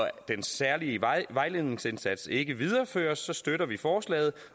at den særlige vejledningsindsats ikke videreføres støtter vi forslaget